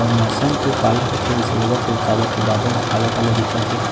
और मौसम तो काला होत हे वैसे लगत हे काबर की बादल ह काला-काला दिखत हे।